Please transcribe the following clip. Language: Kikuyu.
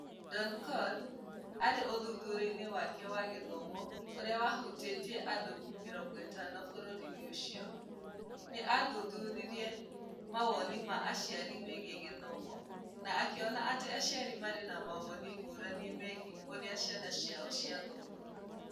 Donkor arĩ ũthuthuria-inĩ wake wa gĩthomo ũrĩa wahutĩtie andũ 50 bũrũri-inĩ ũcio, nĩ athuthuririe mawoni ma aciari megiĩ gĩthomo, na akĩona atĩ aciari maarĩ na mawoni ngũrani megiĩ ũrĩa ciana ciao ciathomaga.